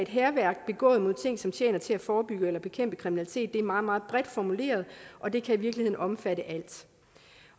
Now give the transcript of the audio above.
hærværk begået mod ting som tjener til at forebygge eller bekæmpe kriminalitet er meget meget bredt formuleret og det kan i virkeligheden omfatte alt